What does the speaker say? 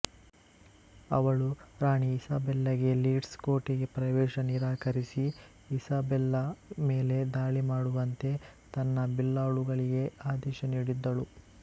ಅವಳು ರಾಣಿ ಇಸಾಬೆಲ್ಲಾಗೆ ಲೀಡ್ಸ್ ಕೋಟೆಗೆ ಪ್ರವೇಶ ನಿರಾಕರಿಸಿ ಇಸಾಬೆಲ್ಲಾ ಮೇಲೆ ದಾಳಿ ಮಾಡುವಂತೆ ತನ್ನ ಬಿಲ್ಲಾಳುಗಳಿಗೆ ಆದೇಶ ನೀಡಿದ್ದಳು